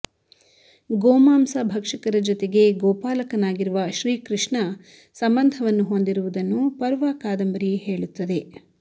ಗೋಮಾಂಸ ಭಕ್ಷಕರ ಜೊತೆಗೆ ಗೋಪಾಲಕನಾಗಿರುವ ಶ್ರೀಕೃಷ್ಣ ಸಂಬಂಧವನ್ನು ಹೊಂದಿರುವುದನ್ನು ಪರ್ವ ಕಾದಂಬರಿ ಹೇಳುತ್ತದೆ